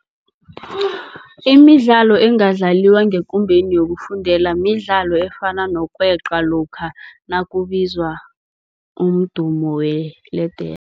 Imidlalo engadlaliwa ngekumbeni yokufundela midlalo efana nokweqa lokha nakubizwa umdumo weledere.